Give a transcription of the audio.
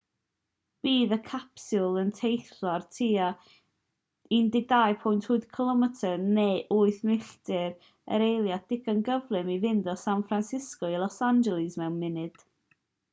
bydd y capsiwl yn teithio ar tua 12.8 km neu 8 milltir yr eiliad digon cyflym i fynd o san francisco i los angeles mewn munud